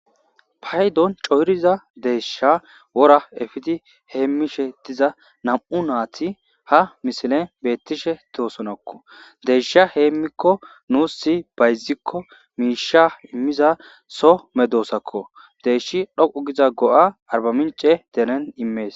paydon coyriza deeshsha wora efidi heemmishe diza nam7u naati ha misilen beettishe toosonokko deesha heemmikko nuus si bayzikko miisha immiza so medoosakko deeshi dhoqu giza go7a arba mince denen immees